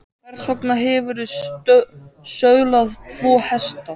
Hvers vegna hefurðu söðlað tvo hesta?